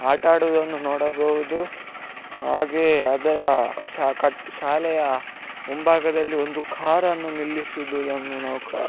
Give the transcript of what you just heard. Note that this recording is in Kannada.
ಆಟವಾಡುವುದನ್ನು ನೋಡಬಹುದು ಹಾಗೆಯೆ ಅದರ ಸ ಕ ಶಾಲೆಯ ಮುಂಭಾಗದಲ್ಲಿ ಒಂದು ಕಾರ್ ನ್ನು ನಿಲ್ಲಿಸಿರುವುದನ್ನು ನಾವು ಕಾ --